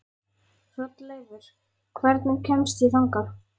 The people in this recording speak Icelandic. Hrolleifur, hvernig kemst ég þangað?